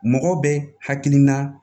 Mɔgɔ bɛ hakilina